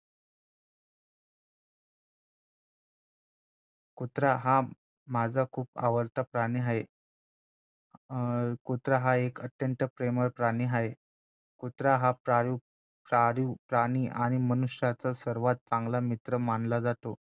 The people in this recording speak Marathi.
कुत्रा हा माझा खूप आवडता प्राणी आहे अं कुत्रा हा एक अत्यंत प्रेमळ प्राणी आहे कुत्रा हा पाळीव प्राणी आणि मनुष्याचा सर्वात चांगला मित्र मानला जातो